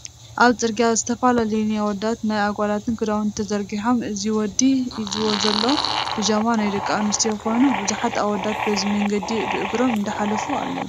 ኣብ ፅርግያ ዝተፈላለዩ ናይ ኣወዳትን ናይ ኣጓላት ክዳውቲ ተዘርጊሖም እዚ ወዲ ሂዝዎ ዘሎ ብጃማ ናይ ደቂ ኣንስትዮ ኮይኑ ብዙሓት ኣወዳት በዚ መንገዲ ብእግሮም እንዳሓለፉ ኣለው።